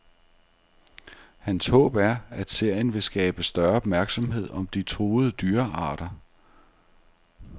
Hans håb er, at serien vil skabe større opmærksomhed om de truede dyrearter.